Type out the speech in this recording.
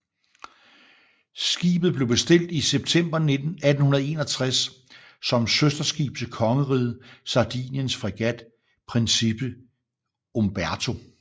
Skibet blev bestilt i september 1861 som søsterskib til kongeriget Sardiniens fregat Principe Umberto